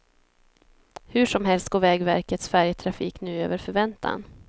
Hur som helst går vägverkets färjetrafik nu över förväntan.